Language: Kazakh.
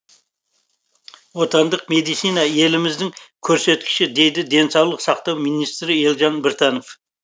отандық медицина еліміздің көрсеткіші дейді денсаулық сақтау министр елжан біртанов